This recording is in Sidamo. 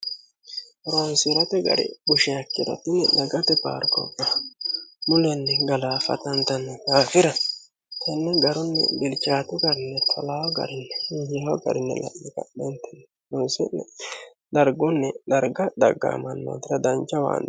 ronsirote gari busheakkiro tinni dagate paargobba mulenni galaafatantanni daafira kunni garunni bilchaatu garine tolao garinni hinyio garinni la'mi ganheenten unsi'ni dargunni darga dhaggaamanno dira dancha waanni